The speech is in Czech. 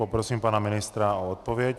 Poprosím pana ministra o odpověď.